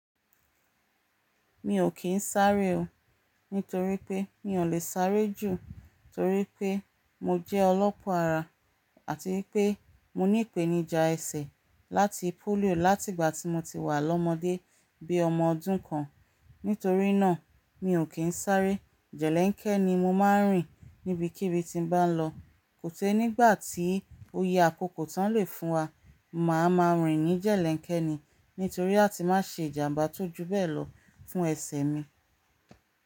Mi ò kín sáré o, nítorí pé mi ò lè sáré jù torí pé mo jẹ́ ọlọ́pọ́ ara àti pé mo ní ìpènijà ẹsẹ̀ láti polio láti ìgbà tí mo ti wà lọ́mọdé bí i ọmọ ọdún kan. Nítorí náà mi ò kín sáré, jẹ̀lẹ́ńkẹ́ ni mo máa ń rìn níbikíbi tí n bá lọ. Kò te nígbà tí oyè àkókò tán lè fún wa, màá ma rìn ní jẹ̀lẹ́ńkẹ́ ni, nítorí àti máa ṣe ìjàmbá tó ju bẹ́ẹ̀ lọ fún ẹsẹ̀ mi.